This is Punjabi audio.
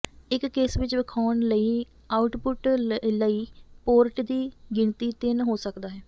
ਇਸ ਕੇਸ ਵਿੱਚ ਵੇਖਾਉਣ ਲਈ ਆਉਟਪੁੱਟ ਲਈ ਪੋਰਟ ਦੀ ਗਿਣਤੀ ਤਿੰਨ ਹੋ ਸਕਦਾ ਹੈ